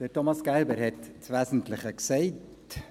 Thomas Gerber hat das Wesentliche gesagt.